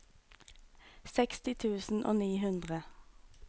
seksti tusen og ni hundre